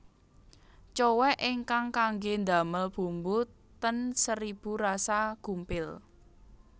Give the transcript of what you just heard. Cowek ingkang kangge ndamel bumbu ten Seribu Rasa gumpil